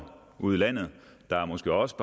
ude i landet der måske også